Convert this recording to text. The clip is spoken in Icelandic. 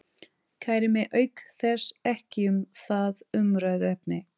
Kæri mig auk þess ekki um það umræðuefni.